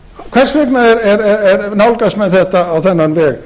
hvers vegna nálgast menn þetta á þennan veg